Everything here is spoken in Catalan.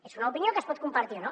és una opinió que es pot compartir o no